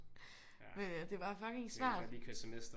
Det er bare fucking svært